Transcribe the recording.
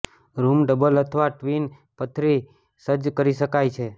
room double અથવા twin પથારી સજ્જ કરી શકાય છે